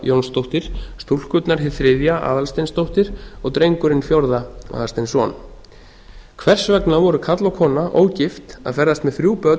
jónsdóttir stúlkurnar hið þriðja aðalsteinsdóttir og drengurinn fjórða aðalsteinsson hvers vegna voru karl og kona ógift að ferðast með þrjú börn